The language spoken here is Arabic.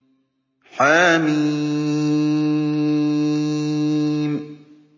حم